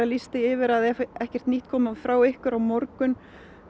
lýst því yfir að ef ekkert nýtt komi frá ykkur á morgun